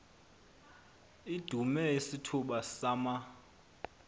idume isithuba sama